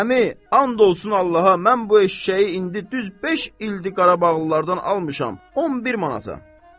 Əmi, and olsun Allaha, mən bu eşşəyi indi düz beş ildir Qarabağlılardan almışam, 10 manata.